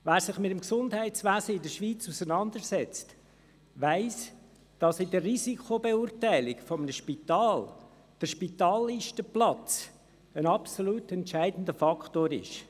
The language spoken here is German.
Wer sich mit dem Gesundheitswesen in der Schweiz auseinandersetzt, weiss, dass in der Risikobeurteilung eines Spitals der Spitallistenplatz ein absolut entscheidender Faktor ist.